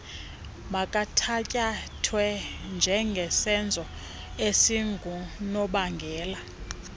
makuthatyathwe njengesenzo esingunobangela